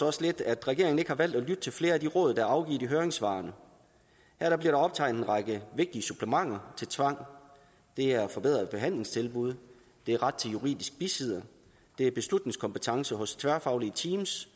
os lidt at regeringen ikke har valgt at lytte til flere af de råd der er afgivet i høringssvarene her bliver optegnet en række vigtige supplementer til tvang det er forbedrede behandlingstilbud det er ret til juridisk bisidder det er beslutningskompetence hos tværfaglige teams